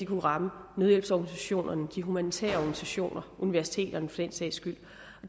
kunne ramme nødhjælpsorganisationerne de humanitære organisationer og universiteterne for den sags skyld